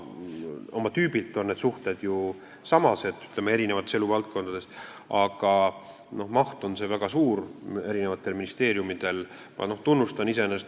Oma tüübilt on need suhted ju eri eluvaldkondades samased, aga eri ministeeriumidel on see maht väga erinev.